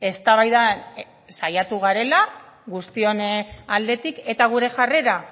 eztabaidan saiatu garela guztion aldetik eta gure jarrera